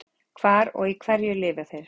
Hvar og á hverju lifa þeir?